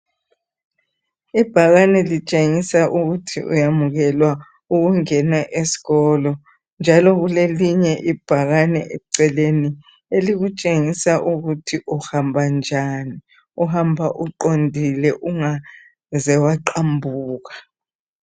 Ibhakani litshengisa ukuthi uyamkelwa ukungena eskolo. Njalo kulelinye ibhakani eceleni elikutshengisa ukuthi uhamba? Uhamba uqondile ungaze waqambuka.